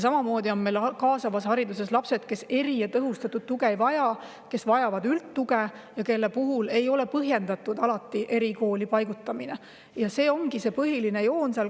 Samamoodi on meil kaasava hariduse puhul need lapsed, kes eri‑ ja tõhustatud tuge ei vaja, kes vajavad üldtuge ja kelle puhul erikooli paigutamine ei ole alati põhjendatud.